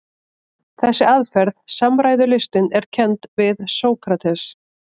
Þessi aðferð, samræðulistin, er kennd við Sókrates.